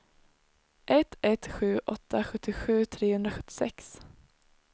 ett ett sju åtta sjuttiosju trehundrasjuttiosex